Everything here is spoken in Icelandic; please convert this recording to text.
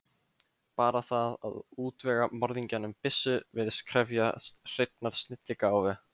Bara það að útvega morðingjanum byssu virðist krefjast hreinnar snilligáfu.